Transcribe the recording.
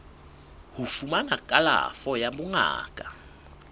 ho fumana kalafo ya bongaka